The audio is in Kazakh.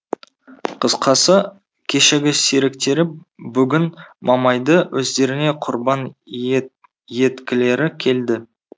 қысқасы кешегі серіктері бүгін мамайды өздеріне құрбан еткілері келді